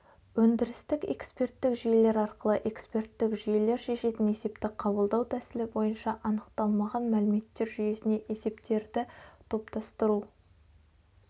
өдірістік эксперттік жүйелер ақылы эксперттік жүйелер шешетін есепті қабылдау тәсілі бойынша анықталмаған мәліметтер жүйесіне есептерді топтастыру